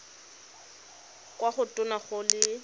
kwa go tona go le